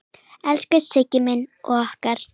Elsku Siggi minn og okkar.